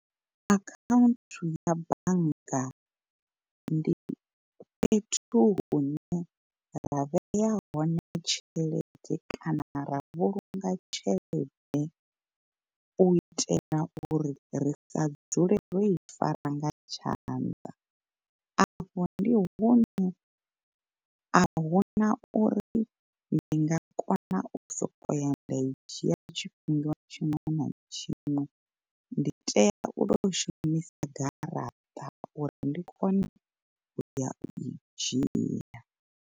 Akhaunthu ya bannga ndi fhethu hune ra vhea hone tshelede kana ra vhulunga tshelede u itela uri ri sa dzule ro i fara nga tshanḓa. Afho ndi hune ahuna uri ndi nga kona u sokou ya nda i dzhia tshifhinga tshiṅwe na tshiṅwe ndi tea u to shumisa garaṱa uri ndi kone uya u i dzhia.